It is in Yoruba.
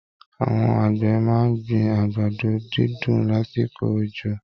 Àwọn àgbẹ̀ máa ń gbin àgbàdo dídùn lásìkò òjò